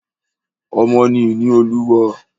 Ọmọ ni ìní Olúwa.